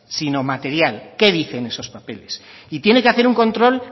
sino material qué dicen esos papeles y tiene que hacer un control